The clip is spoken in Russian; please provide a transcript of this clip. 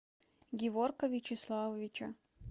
геворка вячеславовича